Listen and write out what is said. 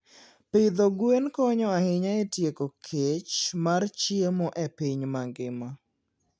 Pidho gwen konyo ahinya e tieko kech mar chiemo e piny mangima.